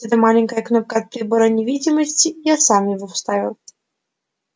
вот эта маленькая кнопка от прибора невидимости я сам его вставил